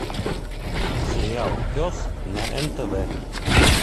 сериал пес на нтв